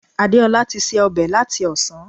Adeola ti se ọbẹ̀ láti ọ̀sán